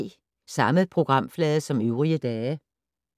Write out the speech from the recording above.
Samme programflade som øvrige dage